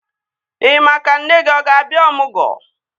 Ị maa ka nne gị ọ ga-abịa ọmụgwọ?